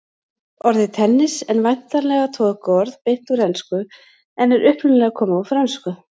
Orðið tennis en væntanlega tökuorð beint úr ensku en er upprunalega komið úr frönsku.